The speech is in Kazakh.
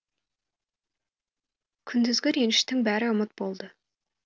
күндізгі реніштің бәрі ұмыт болды